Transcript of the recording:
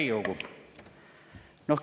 Hea Riigikogu!